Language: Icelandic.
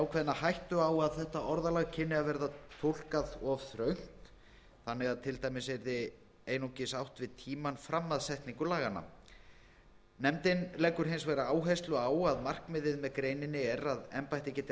ákveðna hættu á þetta orðalag kynni að verða túlkað of þröngt þannig að til dæmis yrði einungis væri átt við tímann fram að setningu laganna nefndin leggur hins vegar áherslu á að markmiðið með greininni er að embættið geti